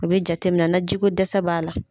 U be jatemina na ji ko dɛsɛ b'a la